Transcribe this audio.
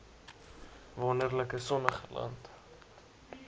wonderlike sonnige land